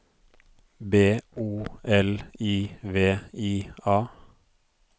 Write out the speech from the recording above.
B O L I V I A